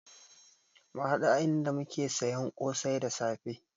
Mu haɗu a inda muke siyan kosai da safe